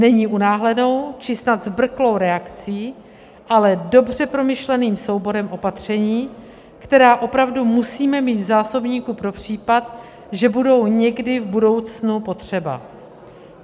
Není unáhlenou či snad zbrklou reakcí, ale dobře promyšleným souborem opatření, která opravdu musíme mít v zásobníku pro případ, že budou někdy v budoucnu potřeba.